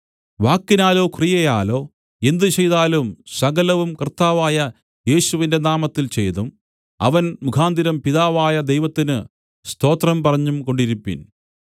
വാക്കിനാലോ ക്രിയയാലോ എന്ത് ചെയ്താലും സകലവും കർത്താവായ യേശുവിന്റെ നാമത്തിൽ ചെയ്തും അവൻ മുഖാന്തരം പിതാവായ ദൈവത്തിന് സ്തോത്രം പറഞ്ഞുംകൊണ്ടിരിപ്പിൻ